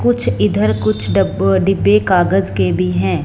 कुछ इधर कुछ डब डिब्बे कागज के भी हैं।